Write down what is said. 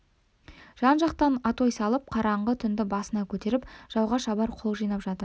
жан-жақтан атой салып қараңғы түнді басына көтеріп жауға шабар қол жинап жатыр